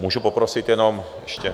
Můžu poprosit jenom ještě?